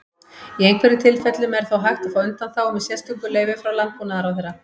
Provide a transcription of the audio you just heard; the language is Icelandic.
Í einhverjum tilfellum er þó hægt að fá undanþágu með sérstöku leyfi frá Landbúnaðarráðherra.